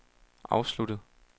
afsluttet